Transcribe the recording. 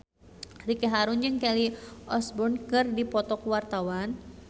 Ricky Harun jeung Kelly Osbourne keur dipoto ku wartawan